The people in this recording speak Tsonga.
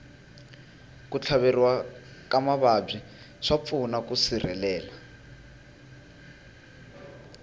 ku tlhaveriwa eka mavabyi swa pfuna ku sirhelela